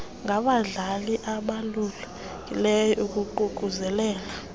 ngabadlali ababalulekileyo ukuququzelela